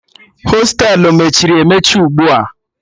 Hostelu mechiri emechi ugbu a